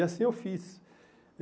E assim eu fiz.